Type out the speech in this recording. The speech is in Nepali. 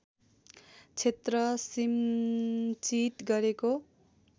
क्षेत्र सिन्चित गरेको